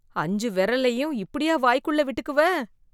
அஞ்சு விரலையும் இப்படியா வாய்க்குள்ள விட்டுக்குவ?